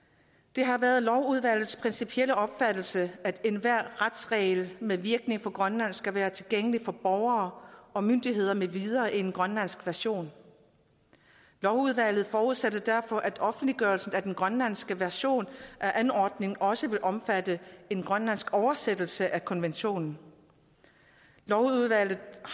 det har været lovudvalgets principielle opfattelse at enhver retsregel med virkning for grønland skal være tilgængelig for borgere og myndigheder med videre i en grønlandsk version lovudvalget forudsætter derfor at offentliggørelsen af den grønlandske version af ordningen også vil omfatte en grønlandsk oversættelse af konventionen lovudvalget